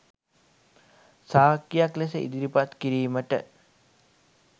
සාක්කියක් ලෙස ඉදිරිපත් කිරීමට